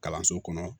Kalanso kɔnɔ